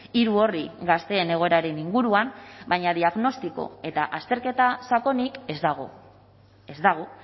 hiru orri gazteen egoeraren inguruan baina diagnostiko eta azterketa sakonik ez dago ez dago